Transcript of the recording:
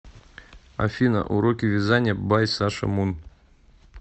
афина уроки вязания бай саша мун